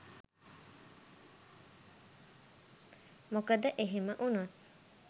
මොකද එහෙම වුණොත්